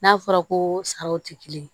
N'a fɔra ko saraw tɛ kelen ye